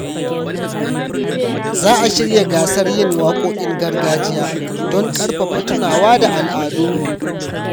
Za a shirya gasar yin waƙoƙin gargajiya don ƙarfafa tunawa da al’adunmu.